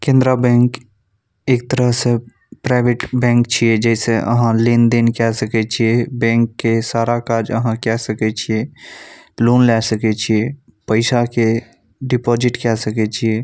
केंद्र बैंक एक तरह से प्राइवेट बैंक छै जैसे आह लेन-देन के सकय छीये बैंक के सारा काज आहां केय सकय छीये लोन लय सकय छीये पैसा के डिपोजिट के सकय छीये ।